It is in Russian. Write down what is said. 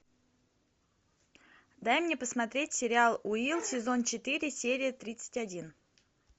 дай мне посмотреть сериал уилл сезон четыре серия тридцать один